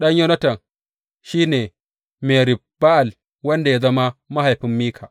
Ɗan Yonatan shi ne, Merib Ba’al wanda ya zama mahaifin Mika.